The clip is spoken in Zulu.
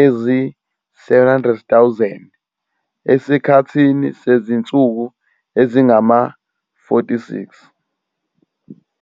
ezi-700 000 esikhathini sezinsuku ezingama-46.